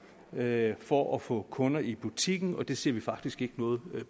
at få få kunder i butikken og det ser vi faktisk ikke noget